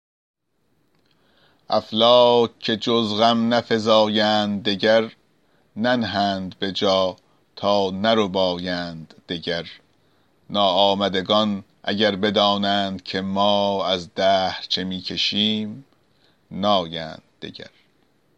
افلاک که جز غم نفزایند دگر ننهند به جا تا نربایند دگر ناآمدگان اگر بدانند که ما از دهر چه می کشیم نایند دگر